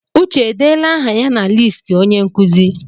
Uche edeela aha ya na listi onye nkuzi?